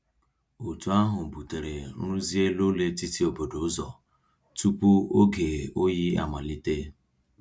Otu ahụ butere nrụzi elu ụlọ etiti obodo ụzọ tupu oge oyi amalite.